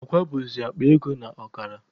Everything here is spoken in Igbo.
Akwa bụzi akpa ego na ọkara.